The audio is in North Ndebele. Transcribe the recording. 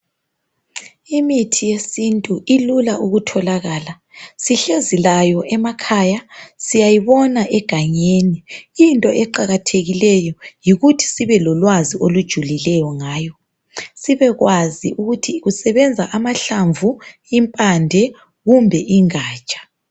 Imithi yesintu ilula ukutholakala. Sihlezi layo emakhaya, siyayibona egangeni. Into eqakathekileyo yikuthi sibe lolwazi olujuliyo ngayo. Sibekwazi ukuthi kusebenza amahlamvu, impande kumbe ingatsha.